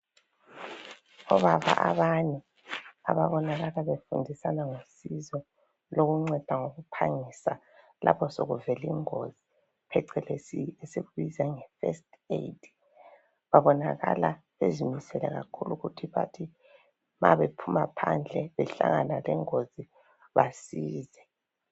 Obaba abane ababonakala befundisana ngosizo lokunceda ngokuphangisa lapho sokuvele ingozi, phecelezi esiyibiza nge "first aid".Babonakala bezimisele kakhulu ukuthi bathi mabephuma phandle behlangana lengozi basize.